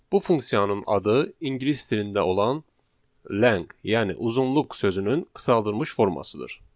Bu funksiyanın adı ingilis dilində olan len, yəni uzunluq sözünün qısaldılmış formasıdır.